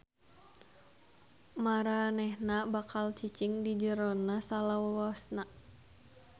Maranehna bakal cicing di jerona salalawasna.